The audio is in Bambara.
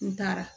N taara